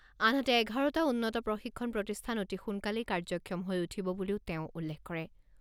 আনহাতে, এঘাৰটা উন্নত প্ৰশিক্ষণ প্ৰতিষ্ঠান অতি সোনকালেই কাৰ্যক্ষম হৈ উঠিব বুলিও তেওঁ উল্লেখ কৰে।